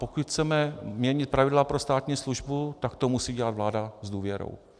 Pokud chceme měnit pravidla pro státní službu, tak to musí dělat vláda s důvěrou.